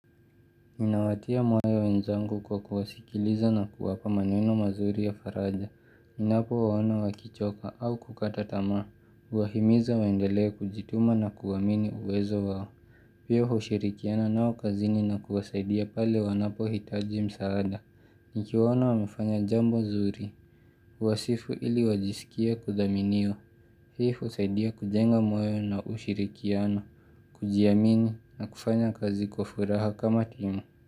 Me nawatia mwayo wenzangu kwa kuwasikiliza na kuwapa maneno mazuri ya faraja. Ninapo waona wakichoka au kukata tamaa. Uwahimiza waendelea kujituma na kuamini uwezo wao. Pia hushirikiana nao kazini na kuwasaidia pale wanapo hitaji msaada. Nikiwaona wamefanya jambo zuri. Huwasifu ili wajisikie kudhaminio. Hii husaidia kujenga mwayo na ushirikiano. Kujiamini na kufanya kazi kwa furaha kama timu.